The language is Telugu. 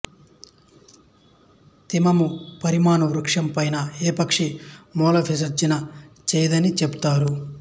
తిమ్మమ మర్రిమాను వృక్షం పైన ఏ పక్షీ మల విసర్జన చెయ్యదని చెపుతారు